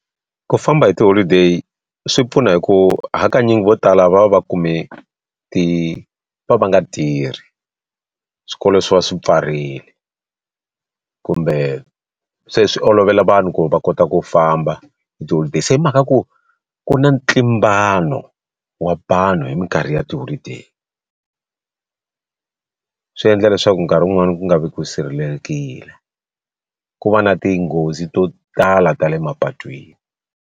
Ku famba hi tiholideyi swi pfuna hi ku hakanyingi vo tala va va kume ti va va va nga tirhi swikolo swi va swi pfarile kumbe se swi olovela vanhu ku va kota ku famba hi tiholideyi se hi mhaka ya ku ku na ntlimbano wa vanhu hi minkarhi ya tiholideyi swi endla leswaku nkarhi wun'wani ku nga vi ku sirhelelekile ku va na tinghozi to tala ta le mapatwini.